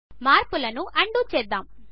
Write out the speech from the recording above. మార్పులను అన్డూ చేద్దాము